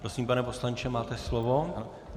Prosím, pane poslanče, máte slovo.